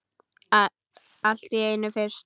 Allt er einu sinni fyrst.